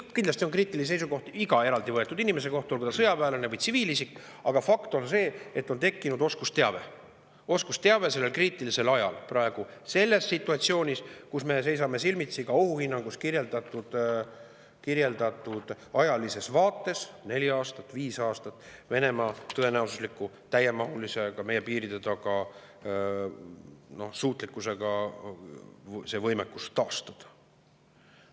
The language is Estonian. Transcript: Kindlasti on kriitilisi seisukohti iga eraldi võetud inimese kohta, olgu ta sõjaväelane või tsiviilisik, aga fakt on see, et on ju tekkinud oskusteave sellel kriitilisel ajal, praegu selles situatsioonis, kus me seisame silmitsi ka ohuhinnangus kirjeldatud ajalises vaates sellega, et neli aastat, viis aastat on aega, kuni Venemaa tõenäosuslikult suudab täiemahuliselt ka meie piiride taga oma võimekuse taastada.